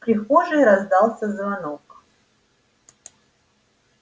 в прихожей раздался звонок